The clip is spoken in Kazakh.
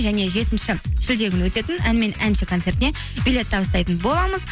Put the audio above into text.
және жетінші шілде күні өтетін ән мен әнші концертіне билет табыстайтын боламыз